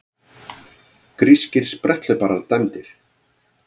Grískir spretthlauparar dæmdir